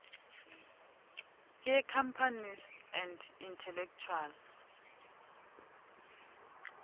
yecompanies and intellectual